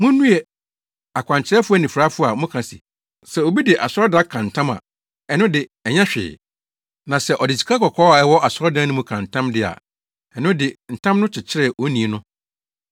“Munnue! Akwankyerɛfo anifuraefo a moka se, sɛ obi de asɔredan ka ntam a, ɛno de, ɛnyɛ hwee. Na sɛ ɔde sikakɔkɔɔ a ɛwɔ asɔredan no mu ka ntam de a, ɛno de, ntam no kyekyere onii no.